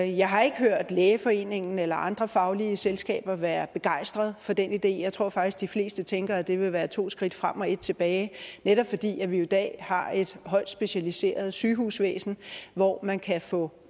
jeg har ikke hørt lægeforeningen eller andre faglige selskaber være begejstret for den idé jeg tror faktisk de fleste tænker at det vil være to skridt frem og et tilbage netop fordi vi jo i dag har et højt specialiseret sygehusvæsen hvor man kan få